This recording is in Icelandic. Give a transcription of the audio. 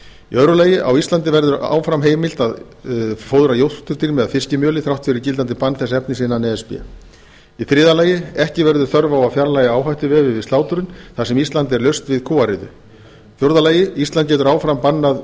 lagi á íslandi verður áfram heimilt að fóðra jórturdýr með fiskimjöli þrátt fyrir gildandi bann þess efnis innan e s b í þriðja lagi ekki verður þörf á að fjarlægja áhættuvefi við slátrun þar sem ísland er laust við kúariðu í fjórða lagi ísland getur áfram bannað